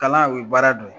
Kalan o ye baara dɔ ye